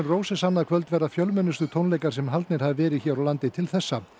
NRoses annað kvöld verða fjölmennustu tónleikar sem haldnir hafa verið hér á landi til þessa